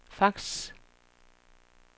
fax